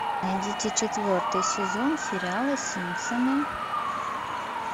найдите четвертый сезон сериала симпсоны